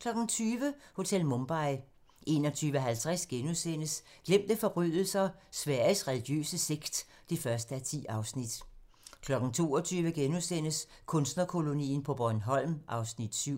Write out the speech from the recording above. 20:00: Hotel Mumbai 21:50: Glemte forbrydelser - Sveriges religiøse sekt (1:10)* 22:00: Kunstnerkolonien på Bornholm (Afs. 7)*